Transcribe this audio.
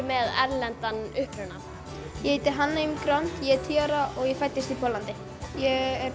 með erlendan uppruna ég heiti Hanna ég er tíu ára og ég fæddist í Póllandi ég